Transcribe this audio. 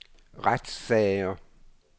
retssager